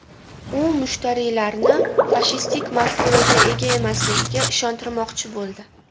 U mushtariylarni fashistik mafkuraga ega emasligiga ishontirmoqchi bo‘ldi.